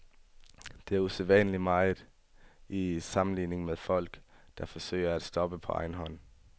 Det er usædvanligt meget i sammenligning med folk, der forsøger at stoppe på egen hånd.